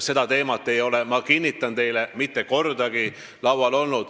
Seda teemat ei ole, ma kinnitan teile, mitte kordagi laual olnud.